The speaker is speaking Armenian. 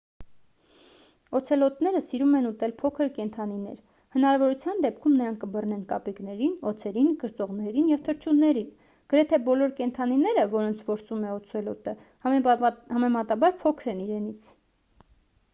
օցելոտները սիրում են ուտել փոքր կենդանիներ հնարավորության դեպքում նրանք կբռնեն կապիկներին օձերին կրծողներին և թռչուններին գրեթե բոլոր կենդանիները որոնց որսում է օցելոտը համեմատաբար փոքր են իրենից